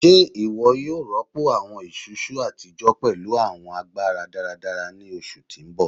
Ṣe iwọ yoo rọpo awọn isusu atijọ pẹlu awọn agbara-daradara ni oṣu ti n bọ?